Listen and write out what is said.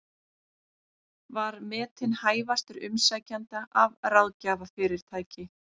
Var metinn hæfastur umsækjenda af ráðgjafarfyrirtæki